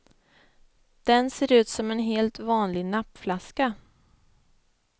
Den ser ut som en helt vanlig nappflaska.